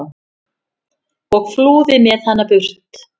og flúði með hana burt.